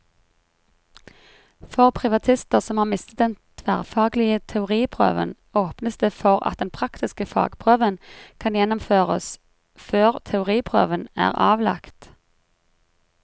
For privatister som har mistet den tverrfaglige teoriprøven, åpnes det for at den praktiske fagprøven kan gjennomføres før teoriprøven er avlagt.